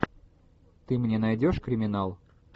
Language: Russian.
ты мне найдешь криминал